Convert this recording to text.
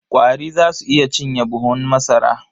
Ƙwari za su iya cinye buhun masara.